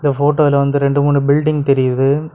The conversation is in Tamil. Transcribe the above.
போட்டோல வந்து ரெண்டு மூணு பில்டிங் தெரியுது.